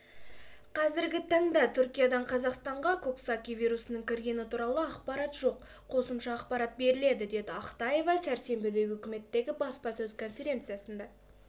қазіргі таңда түркиядан қазақстанға коксаки вирусының кіргені туралы ақпарат жоқ қосымша ақпарат беріледі деді ақтаева сәрсенбідегі үкіметтегі баспасөз конференциясында